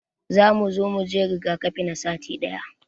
Za mu zo muje rigakafi na sati daya.